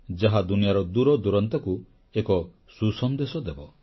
ଯାହା ଦୁନିଆର ଦୂରଦୂରାନ୍ତକୁ ଏକ ସୁସନ୍ଦେଶ ଦେବ